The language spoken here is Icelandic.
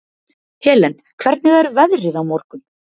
Helen, hvernig er veðrið á morgun?